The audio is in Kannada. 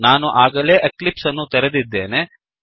ನಾನು ಆಗಲೇ ಎಕ್ಲಿಪ್ಸ್ ಅನ್ನು ತೆರೆದಿದ್ದೇನೆ